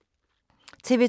TV 2